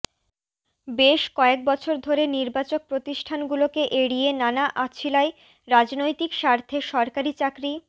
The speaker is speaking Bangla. বেশ কয়েক বছর ধরে নির্বাচক প্রতিষ্ঠানগুলোকে এড়িয়ে নানা অছিলায় রাজনৈতিক স্বার্থে সরকারি চাকরি